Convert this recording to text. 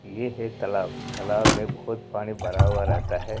ये है तालाब तालाब में बहुत पानी भरा हुआ रहता है ।